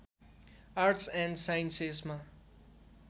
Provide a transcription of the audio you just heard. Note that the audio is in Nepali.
arts and साइन्सेसमा